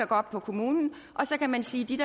gå op på kommunen og så kan man sige dit